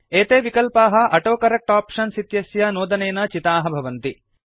एते विकल्पाः autocorrect options इत्यस्य नोदनेन चिताः भवन्ति